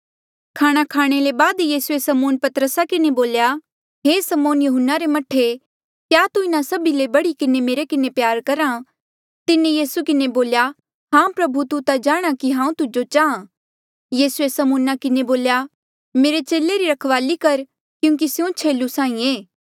खाणा खाणे ले बाद यीसूए समौन पतरसा किन्हें बोल्या हे समौन यहून्ना रे मह्ठे क्या तू इन्हा सभी ले बढ़ी किन्हें मेरे किन्हें प्यार रख्हा तिन्हें यीसू किन्हें बोल्या हां प्रभु तू ता जाणहां कि हांऊँ तुजो चाहां यीसूऐ समौना किन्हें बोल्या मेरे चेले री रखवाली कर क्यूंकि स्यों छेलू साहीं एे